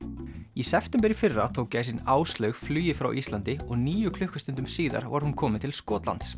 í september í fyrra tók gæsin Áslaug flugið frá Íslandi og níu klukkustundum síðar var hún komin til Skotlands